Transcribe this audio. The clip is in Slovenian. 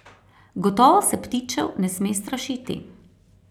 Gotovo se ptičev ne sme strašiti.